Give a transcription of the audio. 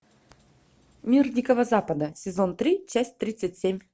мир дикого запада сезон три часть тридцать семь